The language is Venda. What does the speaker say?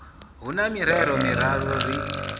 hu na mirero miraru ri